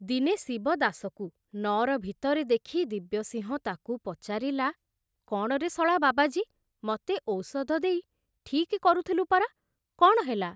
ଦିନେ ଶିବଦାସକୁ ନଅର ଭିତରେ ଦେଖି ଦିବ୍ୟସିଂହ ତାକୁ ପଚାରିଲା, କଣରେ ଶଳା ବାବାଜୀ, ମତେ ଔଷଧ ଦେଇ ଠିକ କରୁଥୁଲୁ ପରା, କଣ ହେଲା